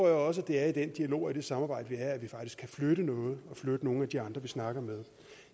jeg også at det er i den dialog og i det samarbejde der er at vi faktisk kan flytte noget og flytte nogle af de andre vi snakker med